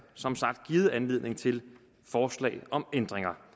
givet anledning til forslag om ændringer